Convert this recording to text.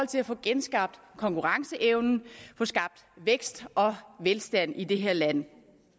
til at få genskabt konkurrenceevnen og få skabt vækst og velstand i det her land